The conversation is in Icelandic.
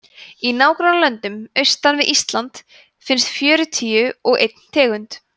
í nágrannalöndum austan við ísland finnst fjörutíu og einn tegund